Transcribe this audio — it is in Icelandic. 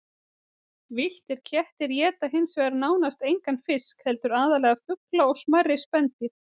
Villtir kettir éta hins vegar nánast engan fisk heldur aðallega fugla og smærri spendýr.